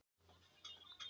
Sá í Efra.